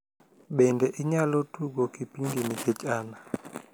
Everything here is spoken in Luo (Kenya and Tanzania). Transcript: bende inyalo tugo kipindi nikech an